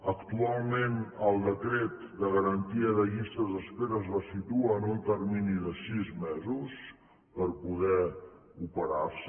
actualment el decret de garantia de llistes d’espera les situa en un termini de sis mesos per poder operar se